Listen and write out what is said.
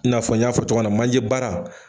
I n'a fɔ n y'a fɔ cɔgɔya na manje baara